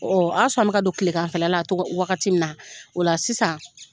o y'a sɔrɔ an bɛ ka don tileganfɛla la wagati min na, o la sisan